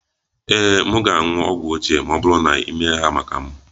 Ee, m ga-aṅụ ogwu ochie ma ọ bụrụ na ị na-eme ya maka m